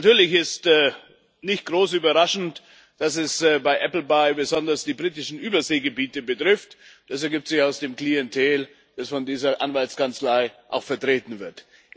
Natürlich ist es nicht besonders überraschend, dass es bei Appleby besonders die britischen Überseegebiete betrifft. Das ergibt sich aus dem Klientel, das von dieser Anwaltskanzlei auch vertreten wird.